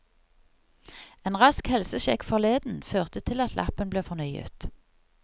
En rask helsesjekk forleden førte til at lappen ble fornyet.